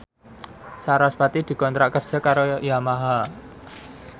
sarasvati dikontrak kerja karo Yamaha